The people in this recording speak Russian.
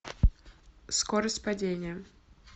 скорость падения